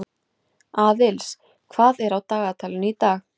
Aðils, hvað er á dagatalinu í dag?